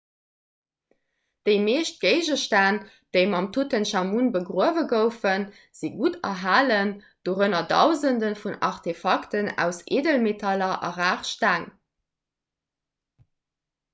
déi meescht géigestänn déi mam tutenchamun begruewe goufen si gutt erhalen dorënner dausende vun aartefakten aus eedelmetaller a rar steng